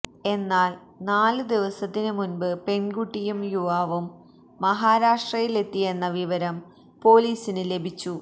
എന്നാല് നാല് ദിവസത്തിന് മുൻപ് പെൺകുട്ടിയും യുവാവും മഹാരാഷ്ട്രയിലെത്തിയെന്ന വിവരം പോലീസിന് ലഭിച്ചു